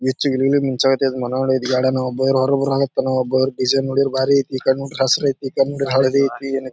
ಬೆಚ್ಚಿಗೆ ಇದೀನ್ ಮುಂಜಾಗತೆ ಈದ್ ಮನು ಈದ್ ಬ್ಯಾಡೇನೋ ಬೇರೆ ಹೋರ್ ಊರಲ್ ಇಥಿನೋ ಬಾರ್ ಬೀಜ ನೋಡಿದ್ರೆ ಬಾರಿ ಐತಿ ಕಣ್ಣು ಹಸಿರು ಐತಿ ಹಳ್ದಿ ಐತಿ.